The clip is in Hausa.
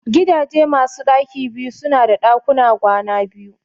Gidaje masu ɗaki biyu su na da ɗakuna kwana biyu